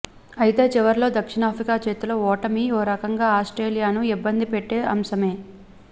అయతే చివర్లో దక్షిణాఫ్రికా చేతిలో ఓటమి ఓ రకంగా ఆస్ట్రేలియాను ఇబ్బందిపెట్టే అంశమే